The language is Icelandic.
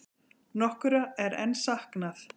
Nokkurra er enn saknað.